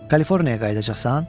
Kaliforniyaya qayıdacaqsan?